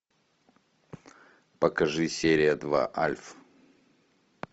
покажи серия два альф